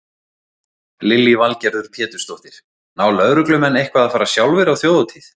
Lillý Valgerður Pétursdóttir: Ná lögreglumenn eitthvað að fara sjálfir á Þjóðhátíð?